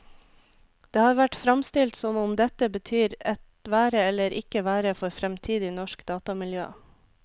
Det har vært fremstilt som om dette betyr et være eller ikke være for fremtidig norsk datamiljø.